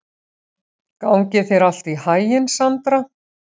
Gangi þér allt í haginn, Sandra.